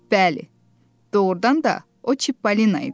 Bəli, doğrudan da o Çipolina idi.